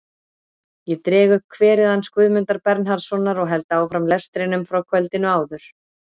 Ég dreg upp kverið hans Guðmundar Bernharðssonar og held áfram lestrinum frá kvöldinu áður.